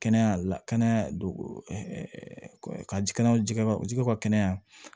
Kɛnɛya la kɛnɛya dugu ka ji kɛnɛya jɛgɛba jɛgɛw ka kɛnɛya